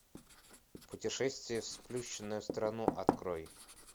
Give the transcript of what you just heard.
путешествие в сплющенную страну открой